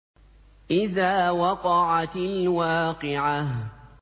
إِذَا وَقَعَتِ الْوَاقِعَةُ